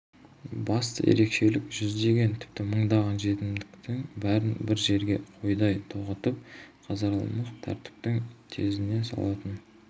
басты ерекшелік жүздеген тіпті мыңдаған жетімектің бәрін бір жерге қойдай тоғытып казармалық тәртіптің тезіне салатын